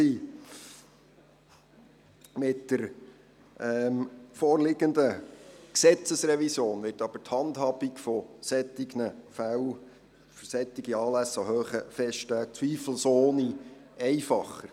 Mit der vorliegenden Gesetzesrevision wird die Handhabung solcher Fälle, also solcher Anlässe an hohen Festtagen, zweifelsohne einfacher.